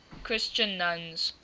christian nuns